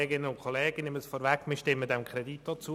Auch wir von der BDP-Fraktion stimmen dem Kredit zu.